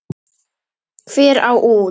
Hver á út?